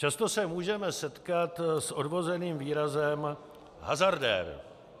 Často se můžeme setkat s odvozeným výrazem hazardér.